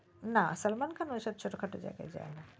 না সালমান খান ঐসব ছোট খাটো জায়গায় যাই না